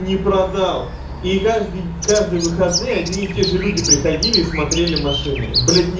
не продал и каждый каждый выходные и одни и те же люди приходили и смотрели машины блять ни